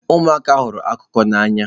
Ụmụaka hụrụ akụkọ n'anya.